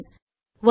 ஒரே மாற்றம்